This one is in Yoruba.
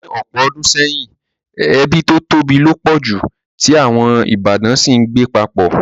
Ní ọ̀pọ̀ odùn seyìn, ebí to tóbi lo pọ̀ ju, ti àwon ìbátan si n gbé papọ̀